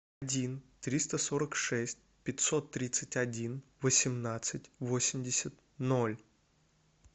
один триста сорок шесть пятьсот тридцать один восемнадцать восемьдесят ноль